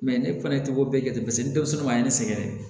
ne fana ye togo bɛɛ jate paseke ni denmisɛnw ma ne sɛgɛrɛ